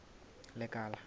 lekala